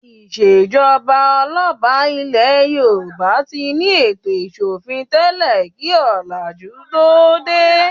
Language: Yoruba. Ìṣèjọba ọlọ́ba ilẹ̀ Yorùbá ti ní ètò ìsọ̀fin tẹ́lẹ̀ kí ọ̀làjú tó dé.